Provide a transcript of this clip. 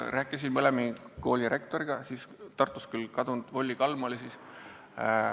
Rääkisin mõlema kooli rektoriga, Tartus oli siis rektor kadunud Volli Kalm.